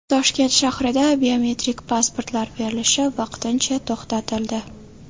Toshkent shahrida biometrik pasportlar berilishi vaqtincha to‘xtatildi.